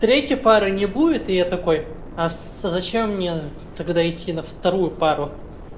третьей пары не будет и я такой а зачем мне тогда идти на вторую пару